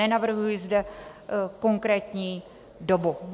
Nenavrhuji zde konkrétní dobu.